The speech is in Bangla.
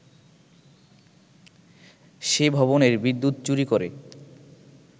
সে ভবনের বিদ্যুৎ চুরি করে